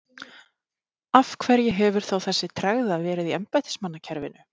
Af hverju hefur þá þessi tregða verið í embættismannakerfinu?